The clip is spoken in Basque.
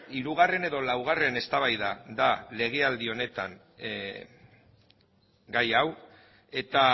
hirugarren edo laugarren eztabaida da legealdi honetan gai hau eta